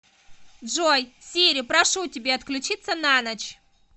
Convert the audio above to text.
джой сири прошу тебя отключиться на ночь